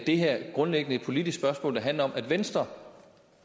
her grundlæggende et politisk spørgsmål der handler om at venstre